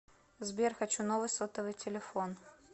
сбер хочу новый сотовый телефон